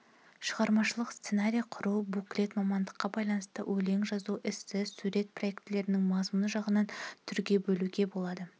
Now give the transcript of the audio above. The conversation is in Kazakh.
шығармашылық-сценарий құру буклет мамандыққа байланысты өлең жазу эссе сурет проектілердің мазмұны жағынан түрге бөлуге болады